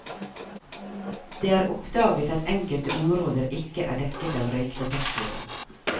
Det er oppdaget at enkelte områder ikke er dekket av røykdetektorer.